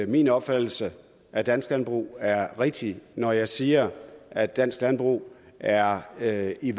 min opfattelse af dansk landbrug er rigtig når jeg siger at dansk landbrug er er i